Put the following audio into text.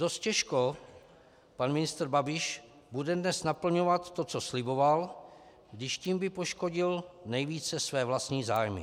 Dost těžko pan ministr Babiš bude dnes naplňovat to, co sliboval, když tím by poškodil nejvíce své vlastní zájmy.